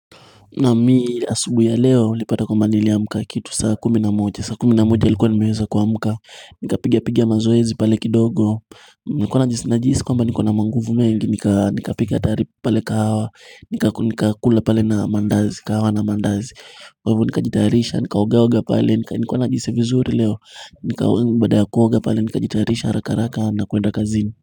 Naam mimi asubuhi ya leo nilipata kwamba nilipata kitu saa kumi na moja, saa kumi na moja nilikuwa nimeweza kuamka nikapiga piga mazoezi pale kidogo, nikuwa najihisi kwamba nikona manguvu mengi, nikapika pale kahawa, nikakula pale na mandazi, kahawa na mandazi Kwa hivyo nikajitayarisha, nikaoga oga pale, nilikuwa najihisi vizuri leo, baada ha kuoga pale nikajitayarisha haraka haraka na kuenda kazini.